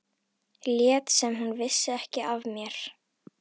Lét sem hún vissi ekki af mér.